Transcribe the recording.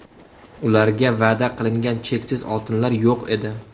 Ularga va’da qilingan cheksiz oltinlar yo‘q edi.